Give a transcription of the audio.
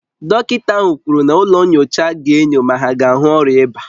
Dọkịta ahụ kwuru na ụlọ nyocha ga-enyo ma ha ga ahu ọrịa ịba